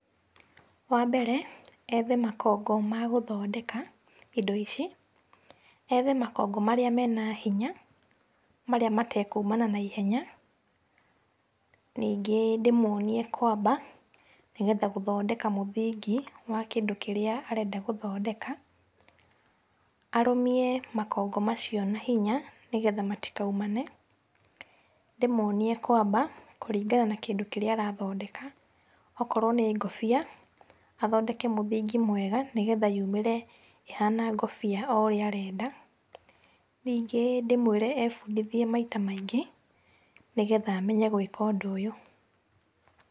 Wambere, ethe makongo ma gũthondeka indo ici, ethe makongo marĩa mena hinya marĩa matekumana na ihenya , ningĩ ndĩmwonie kwamba nĩgetha gũthondeka mũthingi wa kĩndũ kĩrĩa arenda gũthondeka, arũmie makongo macio na hinya nĩgetha matikaumane, ndĩmwonie kwamba kũringana na kĩndũ kĩrĩa arathondeka, okorwo nĩ ngũbia athondeke mũthingi mwega, nĩgetha yumĩre ĩhana ngũbia o ũrĩa arenda. Ningĩ ndĩmwĩre ebundithie maita maingĩ nĩgetha amenye gwĩka ũndũ ũyũ.